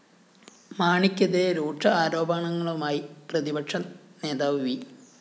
മാണിക്കെതിരേ രൂക്ഷ ആരോപണങ്ങളുമായി പ്രതിപക്ഷ നേതാവ് വി